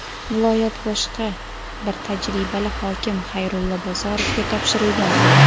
viloyat boshqa bir tajribali hokim – Xayrulla Bozorovga topshirilgan edi.